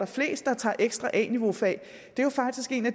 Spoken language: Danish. flest der tager ekstra a niveau fag jo faktisk er en af